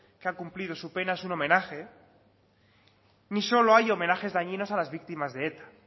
que ha cumplido su pena es un homenaje ni solo hay homenajes dañinos a las víctimas de eta